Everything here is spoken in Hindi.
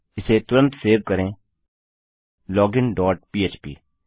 इसे तुरंत सेव करें लोगिन डॉट पह्प